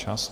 Čas!